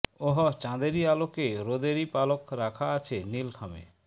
ওহ চাঁদেরই আলোকে রোদেরই পালক রাখা আছে নীল খামে